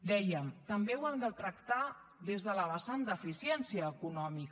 dèiem també ho hem de tractar des de la vessant d’eficiència econòmica